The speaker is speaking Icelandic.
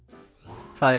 það